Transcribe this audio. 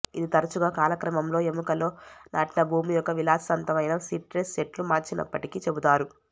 ఇది తరచుగా కాలక్రమంలో ఎముకలో నాటిన భూమి ఒక విలాసవంతమైన సిట్రస్ చెట్లు మార్చినప్పటికీ చెబుతారు